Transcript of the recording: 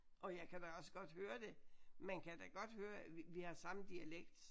Og jeg kan da også godt høre det. Man kan da godt høre at vi har samme dialekt